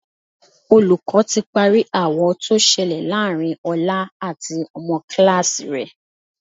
Olùkọ́ ti parí aáwọ̀ tó ṣẹlẹ̀ láàárín Ọlá àti ọmọ kíláàsì rẹ̀